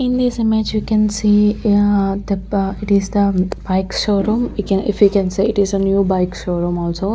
In this image we can see the it is the bike showroom we can if you can say it is a new bike showroom also.